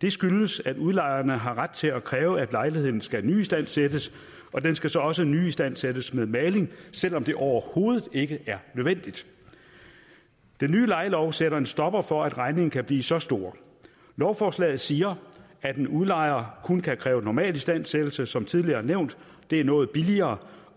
det skyldes at udlejeren har ret til at kræve at lejligheden skal nyistandsættes og den skal så også nyistandsættes med maling selv om det overhovedet ikke er nødvendigt den nye lejelov sætter en stopper for at regningen kan blive så stor lovforslaget siger at en udlejer kun kan kræve normal istandsættelse som tidligere nævnt og det er noget billigere